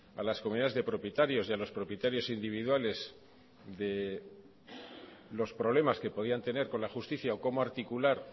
a las comunidades de propietarios y a los propietarios individuales de los problemas que podían tener con la justicia o cómo articular